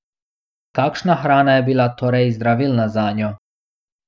Kakšna hrana je bila torej zdravilna zanjo?